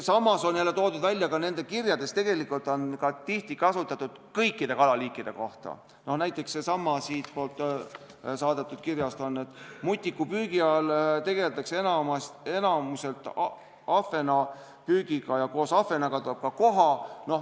Samas on toodud nende kirjades välja seda kõikide kalaliikide kohta, näiteks et mutnikupüügi ajal tegeldakse enamikus ahvenapüügiga ja koos ahvenaga tuleb ka koha.